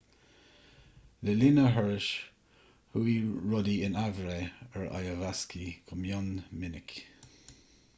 le linn a thurais chuaigh rudaí in aimhréidh ar iwasaki go mion minic